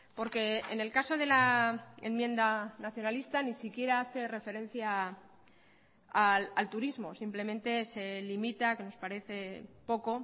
porque en el caso de la enmienda nacionalista ni siquiera hace referencia al turismo simplemente se limita que nos parece poco